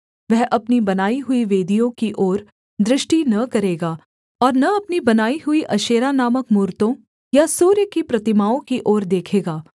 वह अपनी बनाई हुई वेदियों की ओर दृष्टि न करेगा और न अपनी बनाई हुई अशेरा नामक मूरतों या सूर्य की प्रतिमाओं की ओर देखेगा